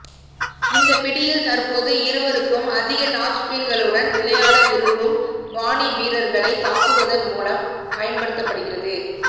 இந்த பிடியில் தற்போது இருவருக்கும் அதிகமான டாப்ஸ்பீன்களுடன் விளையாட விரும்பும் பாணி வீரர்களை தாக்குவதன் மூலம் பயன்படுத்தப்படுகிறது